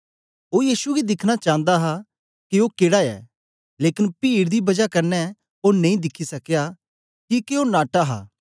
ओ यीशु गी दिखना चांदा हा के ओ केडा ऐ लेकन पीड दी बजा कन्ने ओ नेई दिखी सकया किके ओ नाटा हा